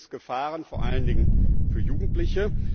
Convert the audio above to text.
Hier gibt es Gefahren, vor allen Dingen für Jugendliche.